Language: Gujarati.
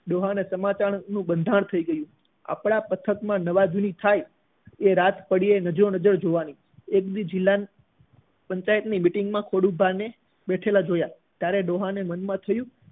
ડોહા ને સમાચાર નું બંધારણ થઇ ગયું આપણા પથક માં નવા જૂની થાય એ રાત પડે નજરો નજર જોવાની એક દિવસ જિલ્લા ની પંચાયત ની meeting માં ખોડુભા ને બેઠેલા જોયા ત્યારે ડોહા ને મનમાં થયું